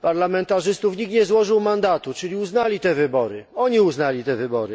parlamentarzystów nikt nie złożył mandatu, czyli uznali te wybory oni uznali te wybory.